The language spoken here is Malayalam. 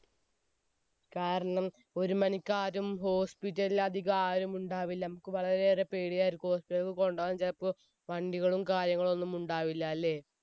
കാരണം ഒരു മണിക്ക് ആരും hospital ൽ അധികമാരും ഉണ്ടാകില്ല, നമുക്ക് വളരെയേറെ പേടിയായിരിക്കും hospital ൽ ഒക്കെ കൊണ്ടുപോകാൻ ചിലപ്പോൾ വണ്ടികളും കാര്യങ്ങളും ഒന്നും ഉണ്ടാവില്ല അല്ലേ?